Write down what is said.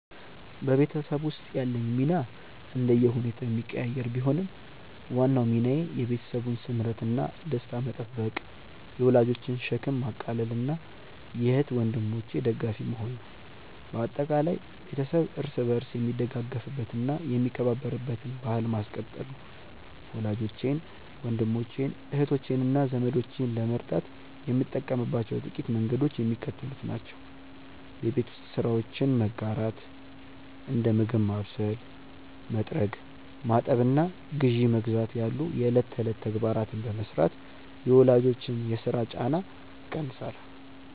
በቤተሰብ ውስጥ ያለኝ ሚና እንደየሁኔታው የሚቀያየር ቢሆንም፣ ዋናው ሚናዬ የቤተሰቡን ስምረትና ደስታ መጠበቅ፣ የወላጆችን ሸክም ማቃለልና የእህት ወንድሞቼ ደጋፊ መሆን ነው። በአጠቃላይ፣ ቤተሰብ እርስ በርስ የሚደጋገፍበትና የሚከባበርበትን ባሕል ማስቀጠል ነው። ወላጆቼን፣ ወንድሞቼን፣ እህቶቼንና ዘመዶቼን ለመርዳት የምጠቀምባቸው ጥቂት መንገዶች የሚከተሉት ናቸው የቤት ውስጥ ስራዎችን መጋራት፦ እንደ ምግብ ማብሰል፣ መጥረግ፣ ማጠብና ግዢ መግዛት ያሉ የዕለት ተዕለት ተግባራትን በመሥራት የወላጆችን የሥራ ጫና እቀንሳለሁ